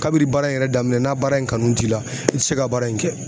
Kabi baara in yɛrɛ daminɛ n'a baara in kanu t'i la i tɛ se ka baara in kɛ.